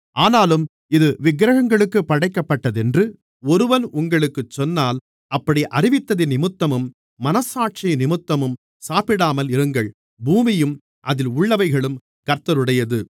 ஆனாலும் இது விக்கிரகங்களுக்குப் படைக்கப்பட்டதென்று ஒருவன் உங்களுக்குச் சொன்னால் அப்படி அறிவித்தவனிமித்தமும் மனச்சாட்சியினிமித்தமும் சாப்பிடாமலிருங்கள் பூமியும் அதில் உள்ளவைகளும் கர்த்தருடையது